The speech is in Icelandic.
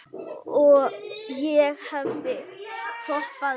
Ég hefði hoppað upp.